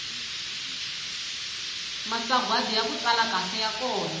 masagwadi yaku tsala kahle ya kona